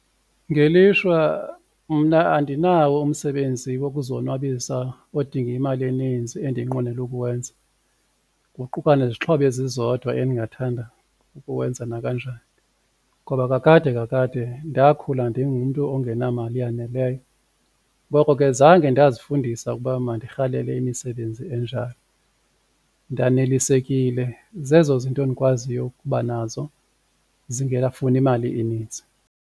Ngelishwa mna andinawo umsebenzi wokuzonwabisa odinga imali eninzi endinqwenela ukuwenza kuquka nezixhobo ezizodwa endingathanda ukuwenza nakanjani, ngoba kakade kakade ndakhula ndingumntu ongenamali eyaneleyo ngoko ke zange ndazifundisa ukuba ndirhalele imisebenzi enjalo. Ndanelisekile zezo zinto ndikwaziyo ukuba nazo zingekafuni mali inintsi.